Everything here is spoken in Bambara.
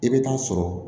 I bɛ taa sɔrɔ